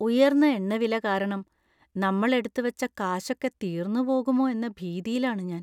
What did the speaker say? ഉയർന്ന എണ്ണവില കാരണം നമ്മൾ എടുത്തുവെച്ച കാശൊക്കെ തീർന്നുപോകുമോ എന്ന ഭീതിയിലാണ് ഞാൻ.